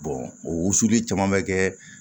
o wusuli caman bɛ kɛ